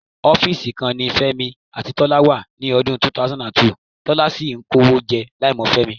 Ọ́fíìsì kan náà ni Fẹ́mi àti Tọ́lá wà ní ọdún 2002, Tọ́lá sì ń kówó jẹ láìmọ̀ Fẹ́mi.